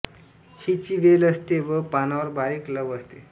हिची वेल असते व पानांवर बारीक लव असते